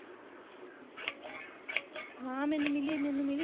ਹਾਂ ਮੈਨੂੰ ਮਿਲੀ ਮੈਨੂੰ ਮਿਲੀ।